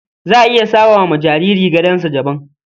Za a iya sama wa jariri gadonsa daban.